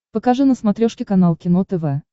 покажи на смотрешке канал кино тв